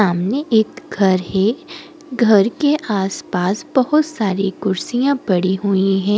सामने एक घर है घर के आसपास बहुत सारी कुर्सियां पड़ी हुई हैं ।